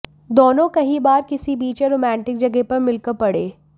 दोनों कहीं बाहर किसी बीच या रोमांटिक जगह पर मिलकर पढें